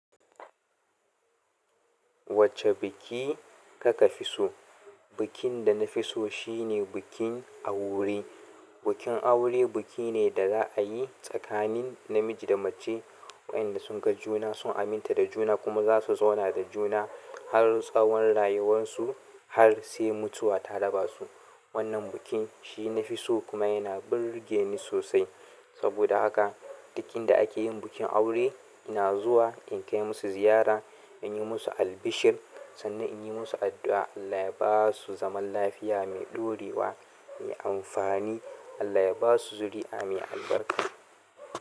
Wacce biki ka ka fi so? Bikin da na fi so shine bikin aure. Bukin aure buki ne da za'a yi tsakanin namiji da mace, waƴanda sun ga juna, sun aminta da juna kuma za su zauna da juna har tsawon rayuwansu har se mutuwa ta raba su. Wannan bukin shi na fi so kuma yana burge ni sosai. Saboda haka duk inda ake yin bukin aure ina zuwa in kai musu ziyara, in yi musu albishir sannan in yi musu addu'a Allah ya ba su zaman lafiya me ɗorewa me amfani. Allah ya ba su zuri'a me albarka.